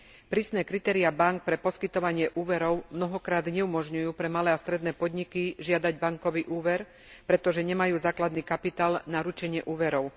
Prísne kritéria bánk pre poskytovanie úverov mnohokrát neumožňujú pre malé a stredné podniky žiadať bankový úver, pretože nemajú základný kapitál na ručenie úverov.